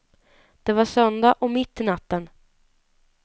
Det var söndag och mitt i natten.